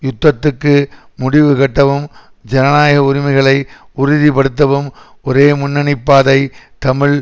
யுத்தத்துக்கு முடிவுகட்டவும் ஜனநாயக உரிமைகளை உறுதி படுத்தவும் ஒரே முன்னணி பாதை தமிழ்